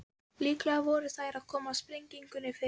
Líklega voru þær að koma sprengjunni fyrir.